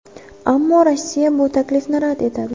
Ammo Rossiya bu taklifni rad etadi.